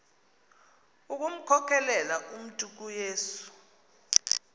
ukumkhokelela umntu kuyesu